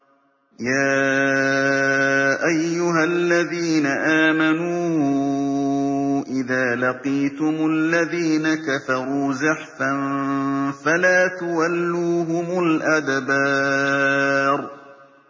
يَا أَيُّهَا الَّذِينَ آمَنُوا إِذَا لَقِيتُمُ الَّذِينَ كَفَرُوا زَحْفًا فَلَا تُوَلُّوهُمُ الْأَدْبَارَ